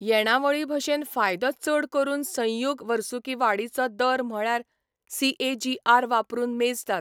येणावळीभशेन फायदो चड करून संयुग वर्सुकी वाडीचो दर म्हळ्यार सीएजीआर वापरून मेजतात.